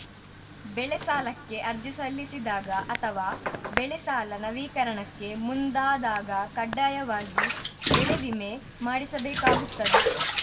ಬೆಳೆ ಸಾಲಕ್ಕೆ ಅರ್ಜಿ ಸಲ್ಲಿಸಿದಾಗ ಅಥವಾ ಬೆಳೆ ಸಾಲ ನವೀಕರಣಕ್ಕೆ ಮುಂದಾದಾಗ ಕಡ್ಡಾಯವಾಗಿ ಬೆಳೆ ವಿಮೆ ಮಾಡಿಸಬೇಕಾಗುತ್ತದೆ